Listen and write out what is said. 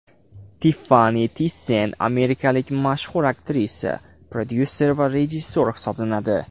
Tiffani Tissen amerikalik mashhur aktrisa, prodyuser va rejissyor hisoblanadi.